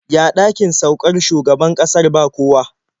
Ya ɗakin saukar shugaban ƙasar ba kowa?